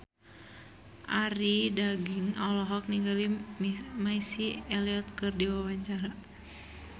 Arie Daginks olohok ningali Missy Elliott keur diwawancara